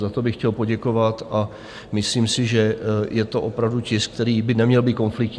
Za to bych chtěl poděkovat a myslím si, že je to opravdu tisk, který by neměl být konfliktní.